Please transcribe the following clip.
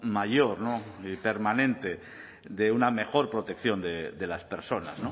mayor y permanente de una mejor protección de las personas